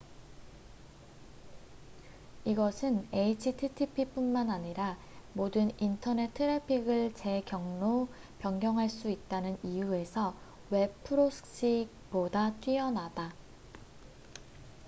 이것은 http뿐만 아니라 모든 인터넷 트래픽을 재 경로 변경 할 수 있다는 이유에서 웹 프록시보다 뛰어나다